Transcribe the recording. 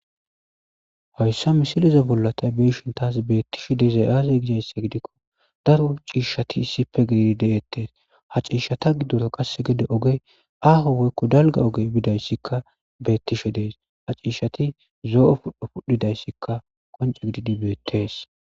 Hayssa misiliza bollata biishin taas beettishe deezay aazey gishayssa gidikko daro ciishshati sipe gidideettees ha ciishshata giddoro qass gede ogey aaho weykko dalga oge bidayssikka beettishe dees ha ciishshati zo'o pudho pudhidayssikka qonce gididi beettees.